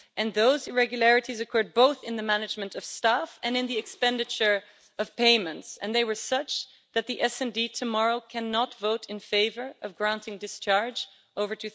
Those irregularities occurred both in the management of staff and in the expenditure of payments, and they were such that SD tomorrow cannot vote in favour of granting discharge over